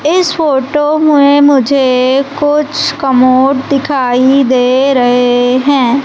इस फोटो में मुझे कुछ कमोड दिखाई दे रहे हैं।